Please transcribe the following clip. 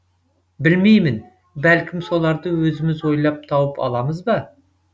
білмеймін бәлкім соларды өзіміз ойлап тауып аламыз ба